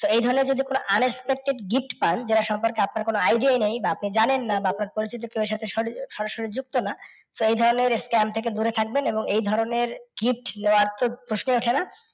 So এই ধরণের যদি কোনও unexpected gift পান যেটার সম্পর্কে আপনার কোনও idea ই নেই বা আপনি জানেন না বা আপনার পরিচিত কেও এর সাথে সরাসরি যুক্ত না, তো এই ধরণের scam থেকে দূরে থাকবেন এবং এই ধরণের gift নেওয়ার তো প্রশ্নই ওঠেনা।